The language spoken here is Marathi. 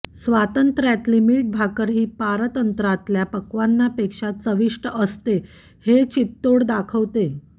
स्वातंत्र्यातली मीठभाकरही पारतंत्र्यातल्या पक्वान्नापेक्षा चविष्ट असते हे चितोड दाखवतं